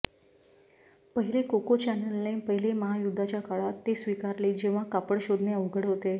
पहिले कोको चॅनेलने पहिले महायुद्धाच्या काळात ते स्वीकारले जेव्हा कापड शोधणे अवघड होते